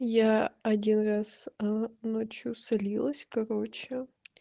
я один раз ээ ночью слилась короче